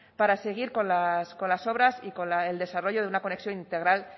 para seguir con las obras y con el desarrollo de una conexión integral